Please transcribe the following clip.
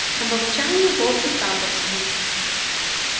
тамбовчане волки тамбовские